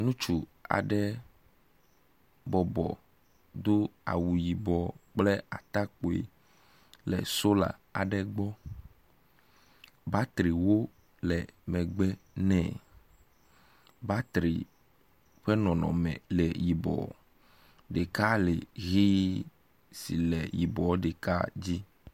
Ŋutsu aɖe bɔbɔ do awu yibɔ kple atakpui le sola aɖe gbɔ. Batriwo le megbe nɛ. Batri ƒe nɔnɔme le yibɔ, ɖeka le ʋe si le batri yibɔ ɖeka dzi.